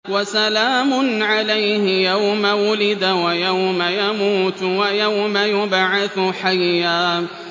وَسَلَامٌ عَلَيْهِ يَوْمَ وُلِدَ وَيَوْمَ يَمُوتُ وَيَوْمَ يُبْعَثُ حَيًّا